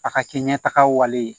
A ka kɛ ɲɛtagaw ye